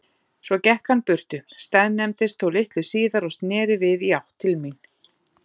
Svo gekk hann burtu, staðnæmdist þó litlu síðar og sneri við í átt til mín.